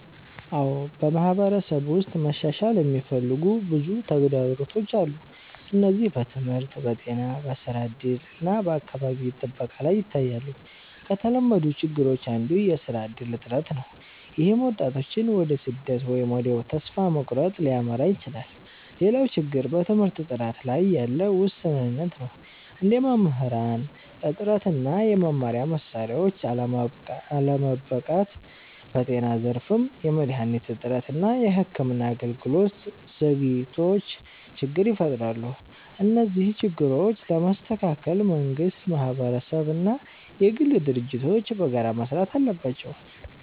አዎ፣ በማህበረሰብ ውስጥ መሻሻል የሚፈልጉ ብዙ ተግዳሮቶች አሉ። እነዚህ በትምህርት፣ በጤና፣ በስራ እድል እና በአካባቢ ጥበቃ ላይ ይታያሉ። ከተለመዱት ችግሮች አንዱ የስራ እድል እጥረት ነው፣ ይህም ወጣቶችን ወደ ስደት ወይም ወደ ተስፋ መቁረጥ ሊያመራ ይችላል። ሌላው ችግር በትምህርት ጥራት ላይ ያለ ውስንነት ነው፣ እንደ መምህራን እጥረት እና የመማሪያ መሳሪያዎች አለመበቃት። በጤና ዘርፍም የመድሃኒት እጥረት እና የሕክምና አገልግሎት ዘግይቶች ችግር ይፈጥራሉ። እነዚህን ችግሮች ለመስተካከል መንግስት፣ ማህበረሰብ እና የግል ድርጅቶች በጋራ መስራት አለባቸው።